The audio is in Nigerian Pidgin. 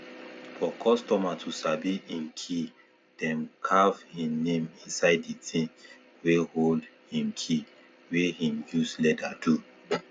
for customer to sabi hin key dem carv him name inside di ting wey hold him key wey him use leather do